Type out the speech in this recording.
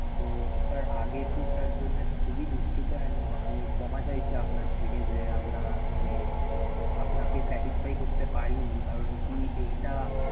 so sir আগের tour টার জন্য খুবই দুঃখিত and আমি ক্ষমা চাইছি আপনার থেকে যে আমরা মানে আপনাকে satisfy করতে পারি নি কারন কি এইটা